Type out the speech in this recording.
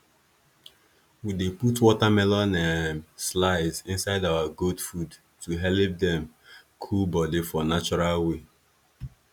we dey put watermelon um slice inside our goat food to helep dem cool body for natural way